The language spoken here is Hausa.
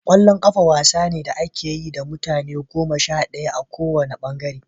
Ƙwallon ƙafa wasa ne da ake yi da mutum goma sha ɗaya a ko wanne ɓangare.